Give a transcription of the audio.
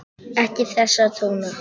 Ekki þessa tóna!